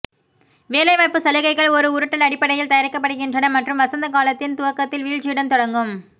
வேலைவாய்ப்பு சலுகைகள் ஒரு உருட்டல் அடிப்படையில் தயாரிக்கப்படுகின்றன மற்றும் வசந்த காலத்தின் துவக்கத்தில் வீழ்ச்சியுடன் தொடங்கும்